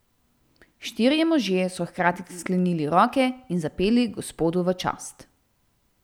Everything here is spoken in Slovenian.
Štirje možje so hkrati sklenili roke in zapeli Gospodu v čast.